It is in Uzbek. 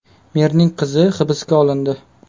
Merning qizi hibsga olindi.